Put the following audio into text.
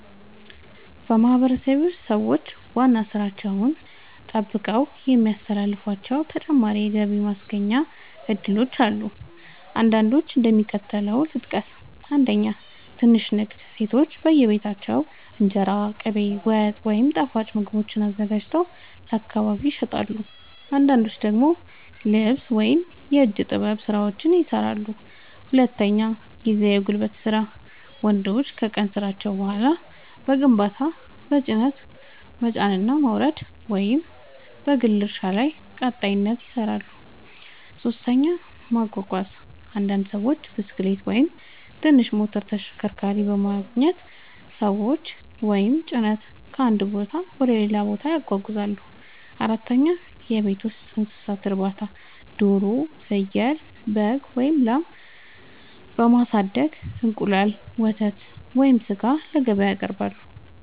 በማህበረሰቤ ውስጥ ሰዎች ዋና ሥራቸውን ጠብቀው የሚሳተፉባቸው ተጨማሪ የገቢ ማስገኛ እድሎች አሉ። አንዳንዶቹን እንደሚከተለው ልጠቅስ፦ 1. ትንሽ ንግድ – ሴቶች በቤታቸው እንጀራ፣ ቅቤ፣ ወጥ ወይም ጣፋጭ ምግቦችን አዘጋጅተው ለአካባቢ ይሸጣሉ። አንዳንዶች ደግሞ ልብስ ወይም የእጅ ጥበብ ሥራዎችን ይሠራሉ። 2. ጊዜያዊ የጉልበት ሥራ – ወንዶች ከቀን ሥራቸው በኋላ በግንባታ፣ በጭነት መጫንና ማውረድ፣ ወይም በግል እርሻ ላይ ቀጣሪነት ይሠራሉ። 3. ማጓጓዝ – አንዳንድ ሰዎች ብስክሌት ወይም ትንሽ ሞተር ተሽከርካሪ በማግኘት ሰዎችን ወይም ጭነት ከአንድ ቦታ ወደ ሌላ ያጓጉዛሉ። 4. የቤት ውስጥ እንስሳት እርባታ – ዶሮ፣ ፍየል፣ በግ ወይም ላም በማሳደግ እንቁላል፣ ወተት ወይም ሥጋ ለገበያ ያቀርባሉ።